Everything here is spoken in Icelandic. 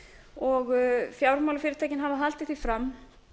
og fjármálafyrirtækin hafa haldið því fram